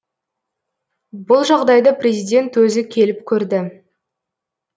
бұл жағдайды президент өзі келіп көрді